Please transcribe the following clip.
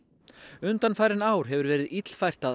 undanfarin ár hefur verið illfært að